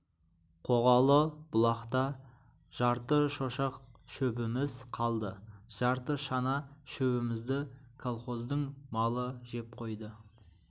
қоғалы бұлақта жарты шошақ шөбіміз қалды жарты шана шөбімізді колхоздың малы жеп қойды